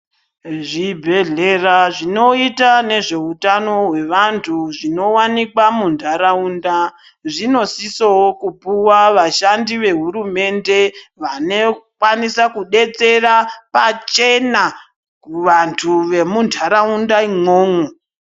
Zvibhedhlera zvinoita nezveutano hwevantu zvinowanikwa muntaraunda, zvinosisowo kupuwa vashandi vehurumende vanokwanisa kudetsera pachena kuvantu vemuntaraunda imwomwo.